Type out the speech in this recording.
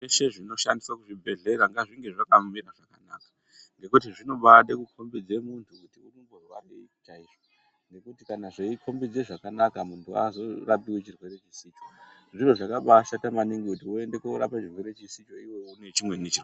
Zvese zvinoshandiswa muzvibhehlera ngazvinge zvakamira zvakanaka ngekuti zvinobaade kukombidze munthu kuti urikumborwarei chaizvo ngekuti kana zveikombidze zvakanaka munthu haazorapiwi chirwere chisicho, zviro zvakabaashata maningi kuti voende korapwe chirwere chisicho iwe une chimweni.